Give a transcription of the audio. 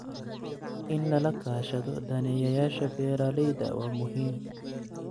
In lala kaashado daneeyayaasha beeralayda waa muhiim.